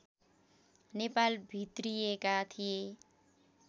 नेपाल भित्रिएका थिए